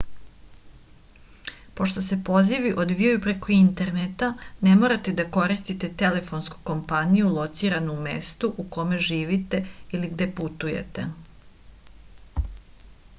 pošto se pozivi odvijaju preko interneta ne morate da koristite telefonsku kompaniju lociranu u mestu u kome živite ili gde putujete